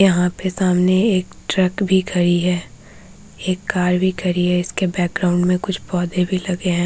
यहाँ पे सामने एक ट्रक भी खड़ी है एक कार भी खड़ी है इसके बैक ग्राउंड मे कुछ पौधे भी लगे है ।